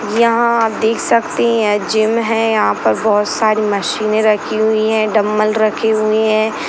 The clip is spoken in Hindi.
यहाँ आप देख सकते है जिम है यहा पर बहुत सारे मशीने रखी हुई है डंबल रखे हुए है।